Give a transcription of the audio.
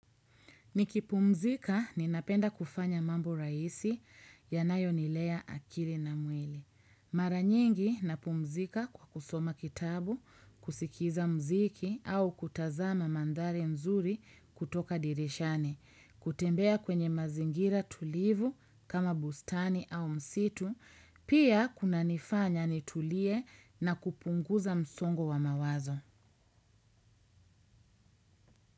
Nikipumzika, ninapenda kufanya mambo rahisi yanayonilea akili na mwili. Mara nyingi napumzika kwa kusoma kitabu, kusikiza mziki au kutazama mandhari mzuri kutoka dirishani, kutembea kwenye mazingira tulivu kama bustani au msitu, pia kuna nifanya nitulie na kupunguza msongo wa mawazo.